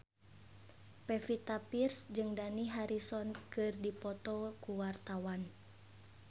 Pevita Pearce jeung Dani Harrison keur dipoto ku wartawan